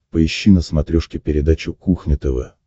поищи на смотрешке передачу кухня тв